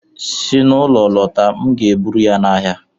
Si n'ụlọ lọta, m ga-eburu ya n'ahịa